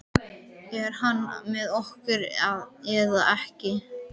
Er hann með okkur eða ekki?